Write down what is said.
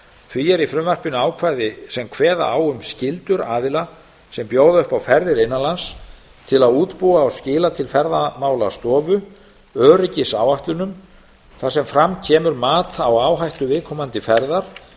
því er í frumvarpinu ákvæði sem kveða á um skyldur aðila sem bjóða upp á ferðir innan lands til að útbúa og skila til ferðamálastofu öryggisáætlunum þar sem fram kemur mat á áhættu viðkomandi ferðar